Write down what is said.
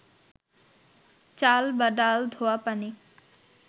চাল বা ডাল ধোয়া পানি